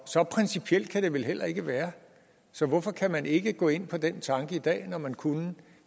så principielt kan det vel heller ikke være så hvorfor kan man ikke gå ind på den tanke i dag når man kunne